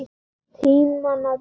Tímanna tákn?